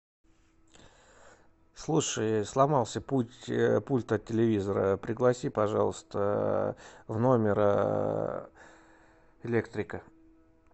слушай сломался пульт от телевизора пригласи пожалуйста в номер электрика